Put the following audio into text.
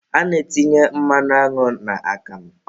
A na-etinye mmanụ aṅụ n'akamụ